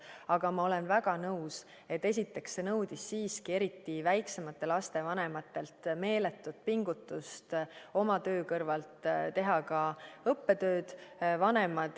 Aga ma olen väga nõus, et esiteks, see nõudis siiski eriti väiksemate laste vanematelt meeletut pingutust oma töö kõrvalt teha ka õppetööd.